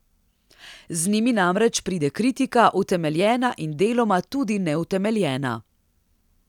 Z njimi namreč pride kritika, utemeljena in deloma tudi neutemeljena.